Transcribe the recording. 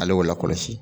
Ale y'o lakɔlɔsi